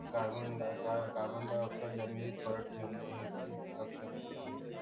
carbon dioxide परत ठेवणे हे पण